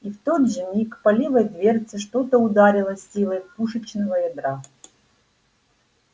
и в тот же миг по левой дверце что-то ударило с силой пушечного ядра